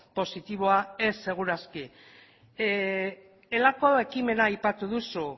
positiboa ez seguru aski elako ekimena aipatu duzu